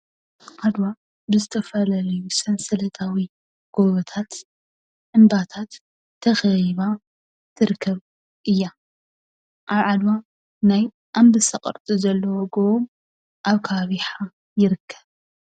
ዓድዋ ብዝተፈላለዩ ሰንሰለታዊ ጎቦታት እምባታት ተከቢባ ትርከብ እያ፡፡ ኣብ ዓድዋ ናይ ኣንበሳ ቅርፂ ዘለዎ ጎቦ ኣብ ከባቢ ይሓ ይርከብ፡፡